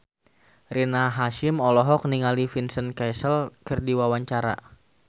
Rina Hasyim olohok ningali Vincent Cassel keur diwawancara